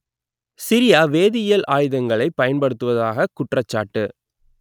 Syria வேதியியல் ஆயுதங்களை பயன்படுத்துவதாக குற்றச்சாட்டு